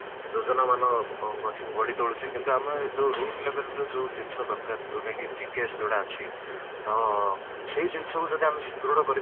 ଯୋଜନା ମାନେ ଅଂ ଗ ଗଢିତ ହୋଇଛି କିନ୍ତୁ ଆମେ ଯୋଉ root level ରେ ଯୋଉ ଜିନିଷ ଦରକାର ଯୋଉଟା କି GKS ଯୋଉଟା ଅଛି ତ ସେଇ ଜିନିଷ କୁ ଯଦି ଆମେ ସୃଦୁଢ କରିପାରିବା